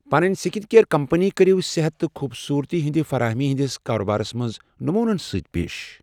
پنٕنۍ skin care company کٔرِو صحت تہٕ خوبصوٗرتی ہٕنٛدِ فرٲہمی ہٕنٛدِس کاربارس منٛز نموٗنن سۭتۍ پیش۔